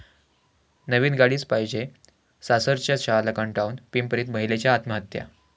नवीन गाडीच पाहिजे', सासरच्या छळाला कंटाळून पिंपरीत महिलेची आत्महत्या